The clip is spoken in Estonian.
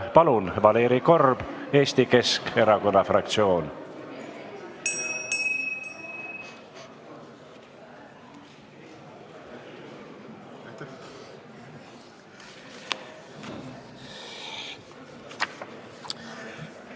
Palun, Valeri Korb, Eesti Keskerakonna fraktsioon!